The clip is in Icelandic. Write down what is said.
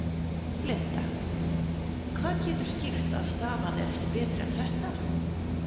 Linda: Hvað getur skýrt að staðan er ekki betri en þetta?